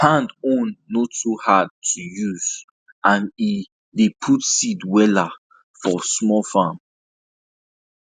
hand own no too hard to hard to use and e dey put seed well for small farms